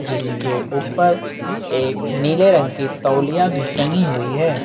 जिसके ऊपर एक नीले रंग तौलिया भी टंगी हुई है।